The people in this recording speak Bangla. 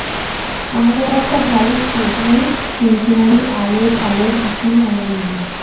আমাদের একটা ভালো stage নেই। সিন্ সিনারি আলোর ঝালর কিছুই আমাদের নেই।